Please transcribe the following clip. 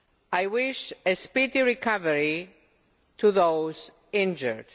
I wish a speedy recovery to those injured.